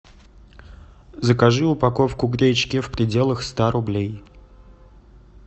закажи упаковку гречки в пределах ста рублей